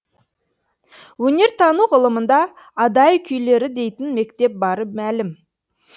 өнертану ғылымында адай күйлері дейтін мектеп бары мәлім